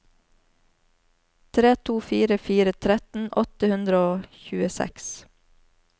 tre to fire fire tretten åtte hundre og tjueseks